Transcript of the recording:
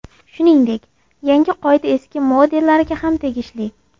Shuningdek, yangi qoida eski modellarga ham tegishli.